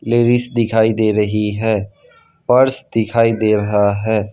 Ladies दिखाई दे रही है पर्स दिखाई दे रहा है।